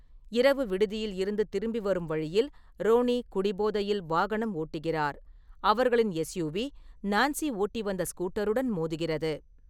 இரவு விடுதியில் இருந்து திரும்பி வரும் வழியில், ரோனி குடிபோதையில் வாகனம் ஓட்டுகிறார், அவர்களின் எஸ்யூவி நான்சி ஓட்டி வந்த ஸ்கூட்டருடன் மோதுகிறது.